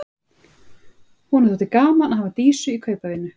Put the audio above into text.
Honum þótti gaman að hafa Dísu í kaupavinnu.